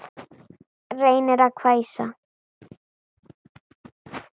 Reynir að hvæsa.